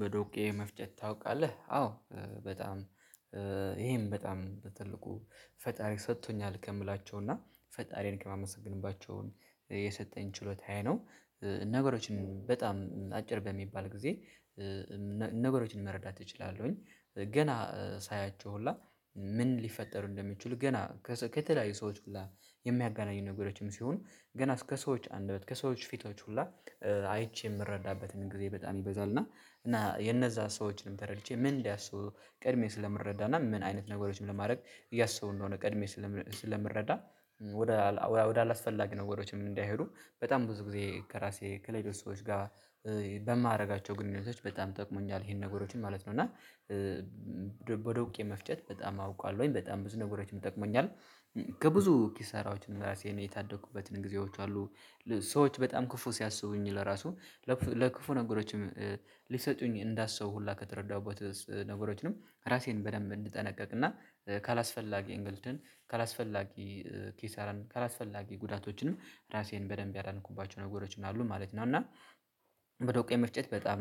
በዶቄ መፍጨት ታውቃለህ አዎ በጣም ይሄን በጣም በትልቁ ፈጣሪ ሰጥቶኛል ከምላቸው እና ፈጣሪዬን ከማመሰግንባቸውን የሰጠኝ ችሎታዬ ነው። ነገሮችን በጣም አጭር በሚባል ጊዜ። ነገሮችን መረዳት እችላለሁኝ ገና ሳያቸው ሁላ ምን ሊፈጠሩ እንደሚችሉ ገና ከተለያዩ ሰዎች ሁላ የሚያጋናኙ ነገሮችም ሲሆኑ ገና እስከ ሰዎች አንደበት ከሰዎች ፊቶች ሁላ አይቼ የምረዳበትን ጊዜ በጣም ይበዛል። እና እና የነዛ ሰዎችንም ተረድቼ ምን እንዲያስቡ ቀድሜ ስለምረዳና ምን አይነት ነገሮችን ለማድረግ እያሰው እንደሆነ ቀድሜ ስለምረዳ። ወደ ወደ አላስፈላጊ ነገሮችም እንዳይሄዱ በጣም ብዙ ጊዜ ከራሴ ከሌሎች ሰዎች ጋር በማደርጋቸው ግንኙነቶች በጣም ጠቅሞኛል ይሄን ነገሮችን ማለት ነው። እና በዶቄ መፍጨት በጣም አውቃለሁኝ በጣም ብዙ ነገሮችን ይጠቅመኛል። ከብዙ ኪሳራዎችን ራሴን የታደኩበትን ጊዜዎችም አሉ። ሰዎች በጣም ክፉ ሲያስቡኝ ለራሱ ለክፉ ነገሮችም ሊሰጡኝ እንዳሰቡ ሁላ ከተረዳሁበት ነገሮችንም ራሴን በደንብ እንድጠነቀቅና ካላስፈላጊ እንግልትን ካላስፈላጊ ኪሳራን ካላስፈላጊ ጉዳቶችንም ራሴን በደንብ ያዳንኩባቸው ነገሮችም አሉ ማለት ነው። እና በዶቄ መፍጨት በጣም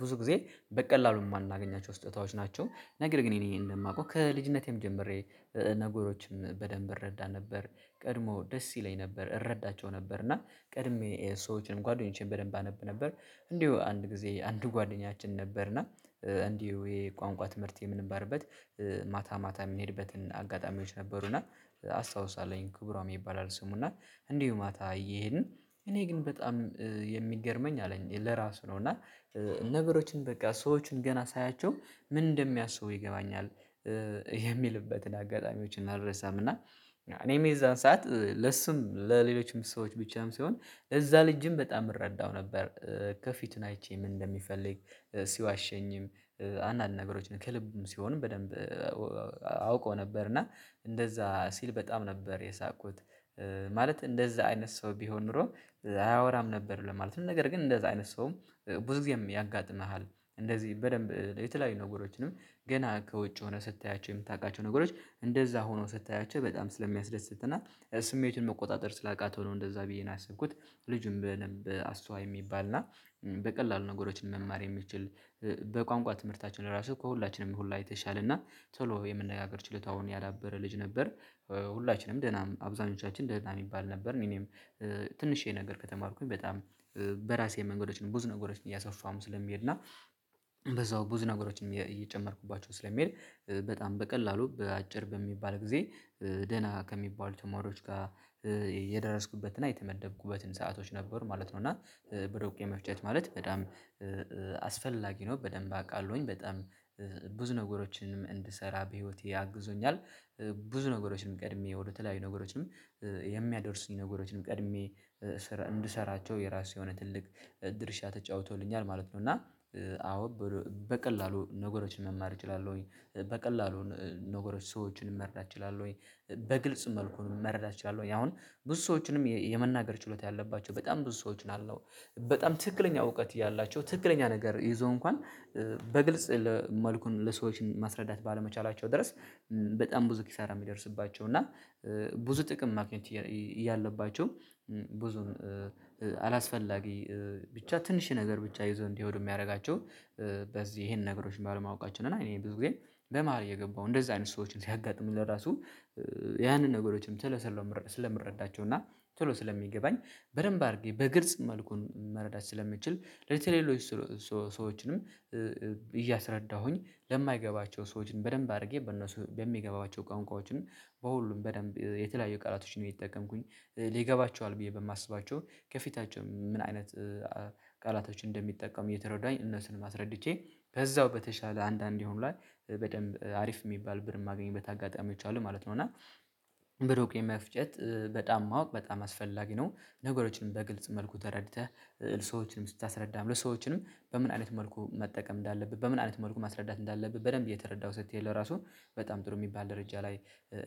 ብዙ ጊዜ በቀላሉ የማናገኛቸው ስጦታዎች ናቸው። ነገር ግን እኔ እኔ እንደማውቀው ከልጅነቴም ጀምሬ ነገሮችን በደንብ እረዳ ነበር። ቀድሞ ደስ ይለኝ ነበር እረዳቸው ነበር እና ቀድሜ ሰዎችንም ጓደኞቼን በደንብ አነብ ነበር። እንዲሁ አንድ ጊዜ አንድ ጓደኛችን ነበርና እንዲሁ የቋንቋ ትምህርት የምንማርበት ማታ ማታ የምንሄድበት አጋጣሚዎች ነበሩና። አስታውሳለሁኝ ክቡሮም ይባላል ስሙና እንዲሁ ማታ እየሄድን እኔ ግን በጣም የሚገርመኝ አለኝ ለራሱ ነው እና። ነገሮችን በቃ ሰዎችን ገና ሳያቸው ምን እንደሚያስቡ ይገባኛል። የሚልበትን አጋጣሚዎችን አልረሳም። እና እኔም የዛን ሰዓት ለስም ለሌሎችም ሰዎች ብቻም ሳይሆን ለዛ ልጅም በጣም እረዳው ነበር። ከፊቱን አይቼ ምን እንደሚፈልግ ሲዋሸኝም አንዳንድ ነገሮችን ከልቡም ሲሆን በደንብ። አውቆ ነበር እና እንደዛ ሲል በጣም ነበር የሳቁት። ማለት እንደዛ አይነት ሰው ቢሆን ኖሮ አያወራም ነበር ለማለት ነው። ነገር ግን እንደዛ አይነት ሰውም ብዙ ጊዜም ያጋጥምሃል እንደዚህ በደንብ የተለያዩ ነገሮችንም ገና ከውጭ ሆነህ ስታያቸው የምታውቃቸው ነገሮች እንደዛ ሆኖ ስታያቸው በጣም ስለሚያስደስት እና ስሜቱን መቆጣጠር ስላቃተው ነው እንደዛ ብዬ ነው ያሰብኩት። ልጁም በደንብ አስተዋይ የሚባል እና በቀላሉ ነገሮችን መማር የሚችል በቋንቋ ትምህርታችን ራሱ ከሁላችንም ሁላ የተሻለ እና ቶሎ የመነጋገር ችሎታውን ያዳበረ ልጅ ነበር። ሁላችንም ደህና አብዛኞቻችን ደህና የሚባል ነበር። እኔም ትንሽዬ ነገር ከተማርኩኝ በጣም በራሴ መንገዶችን ብዙ ነገሮችን እያሰፈሁም ስለሚሄድና በዛው ብዙ ነገሮችንም እየጨመርኩባቸው ስለሚሄድ። በጣም በቀላሉ በአጭር በሚባል ጊዜ ደህና ከሚባሉት ተማሪዎች ጋር የደረስኩበትና የተመደብኩበትን ሰአቶች ነበሩ ማለት ነው። እና በዶቄ መፍጨት ማለት በጣም አስፈላጊ ነው በደንብ አውቃለሁኝ በጣም ብዙ ነገሮችንም እንድሰራ በህይወቴ አግዞኛል። ብዙ ነገሮችንም ቀድሜ ወደ ተለያዩ ነገሮችም የሚያደርሱኝ ነገሮችን ቀድሜ እንድሰራቸው የራሱ የሆነ ትልቅ ድርሻ ተጫውቶልኛል ማለት ነው። እና አዎ። በቀላሉ ነገሮችን መማር እችላለሁኝ በቀላሉ ነገሮች ሰዎችን መረዳት እችላለሁኝ። በግልጽ መልኩ መረዳት እችላለሁኝ አሁን ብዙ ሰዎችንም የመናገር ችሎታ ያለባቸው በጣም ብዙ ሰዎች ናቸው። በጣም ትክክለኛ እውቀት ያላቸው ትክክለኛ ነገር ይዘው እንኳን በግልጽ መልኩን ለሰዎች ማስረዳት ባለመቻላቸው ድረስ። በጣም ብዙ ኪሳራ የሚደርስባቸው እና ብዙ ጥቅም ማግኘት እያለባቸው ብዙ አላስፈላጊ ብቻ ትንሽ ነገር ብቻ ይዞ እንዲሄዱ የሚያደርጋቸው። በዚህ ይሄን ነገሮችን ባለማወቃችን እና እኔ ብዙ ጊዜ በመሃል እየገባው እንደዛ አይነት ሰዎችን ሲያጋጥሙኝ ለራሱ ያንን ነገሮችም ቶሎ ስለም ስለምረዳቸው። እና ቶሎ ስለሚገባኝ። በደንብ አድርጌ በግልጽ መልኩን መረዳት ስለምችል። ለተለየሎች ሰዎችንም እያስረዳሁኝ ለማይገባቸው ሰዎችን በደንብ አድርጌ በእነሱ በሚገባቸው ቋንቋዎችን በሁሉም በደንብ የተለያዩ ቃላቶች ነው የተጠቀምኩኝ። ሊገባቸው ብዬ በማስባቸው ከፊታቸው ምን አይነት ቃላቶች እንደሚጠቀሙ እየተረዳሁኝ እነሱንም አስረድቼ በዛው በተሻለ አንዳንድ የሆኑ ላይ በደንብ አሪፍ የሚባል ብር የማገኝበት አጋጣሚዎች አሉ ማለት ነው። እና ብሮክ የመፍጨት በጣም ማወቅ በጣም አስፈላጊ ነው። ነገሮችንም በግልጽ መልኩ ተረድተህ ለሰዎችንም ስታስረዳም ለሰዎችንም በምን አይነት መልኩ መጠቀም እንዳለብህ በምን አይነት መልኩ ማስረዳት እንዳለብህ በደንብ እየተረዳህው ስትሄድ ለራሱ በጣም ጥሩ የሚባል ደረጃ ላይ።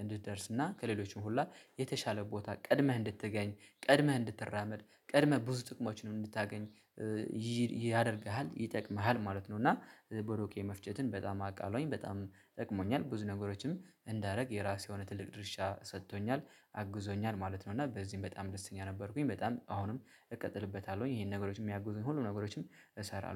እንድትደርስ ከሌሎችም ሁላ የተሻለ ቦታ ቀድመህ እንድትገኝ ቀድመህ እንድትራመድ ቀድመህ ብዙ ጥቅሞችን እንድታገኝ ያደርግሃል ይጠቅምሃል ማለት ነው። እና ቦሎቄ መፍጨትን በጣም አቃለሁኝ በጣም ጠቅሞኛል። ብዙ ነገሮችም እንዳደረግ የራሴ የሆነ ትልቅ ድርሻ ሰጥቶኛል አግዞኛል ማለት ነው። እና በዚህም በጣም ደስተኛ ነበርኩኝ። በጣም አሁንም እቀጥልበታለሁኝ ይሄን ነገሮች የሚያገዙኝ ሁሉ ነገሮችም እሰራለሁ